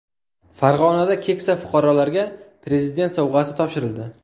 Farg‘onada keksa fuqarolarga prezident sovg‘asi topshirildi .